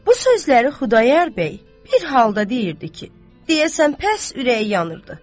Bu sözləri Xudayar bəy bir halda deyirdi ki, deyəsən pəs ürəyi yanırdı.